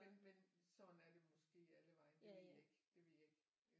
Men men sådan er det måske allevegne det ved jeg ikke det ved jeg ikke